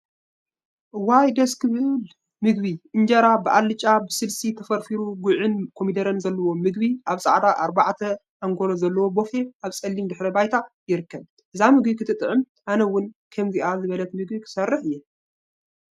እዋይ ደስ ዝብል ምግቢ! እንጀራ ብአልጫን ብስልሲን ተፈርፊሩ ጉዕን ኮሚደረን ዘለዎ ምግቢ አብ ፃዕዳ አርባዕ አንጎሎ ዘለዎ ቦፌ አብ ፀሊም ድሕረ ባይታ ይርከብ፡፡ እዛ ምግቢ ክትጥዕም አነ እውን ከምዚአ ዝበለት ምግቢ ክሰርሕ እየ፡፡